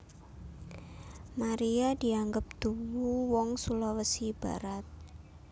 Maria dianggep duwu wong Sulawesi Barat